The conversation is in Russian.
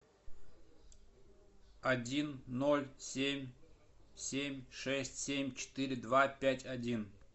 один ноль семь семь шесть семь четыре два пять один